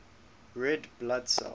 red blood cells